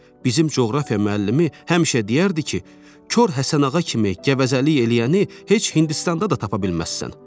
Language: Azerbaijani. Bizim coğrafiya müəllimi həmişə deyərdi ki, Kor Həsənağa kimi qəvəzəlik eləyəni heç Hindistanda da tapa bilməzsən.